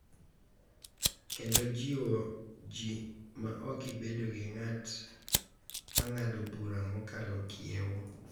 Kendo jiwo ji ma ok ibed gi ng’at ma ng’ado bura mokalo kiewo,